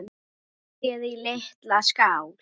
Setjið í litla skál.